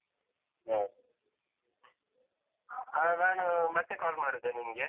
ಹ್ಮ್. ಹಾ ನಾನು ಮತ್ತೆ call ಮಾಡುದ ನಿಂಗೆ?